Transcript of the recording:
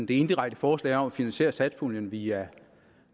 det indirekte forslag om at finansiere satspuljen via